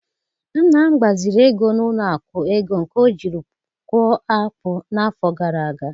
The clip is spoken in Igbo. Nna m gbaziri ego n'ụlọ akụ ego nke ọjiri kụọ akpu n'afọ gara aga